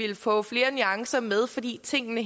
jeg få flere nuancer med fordi tingene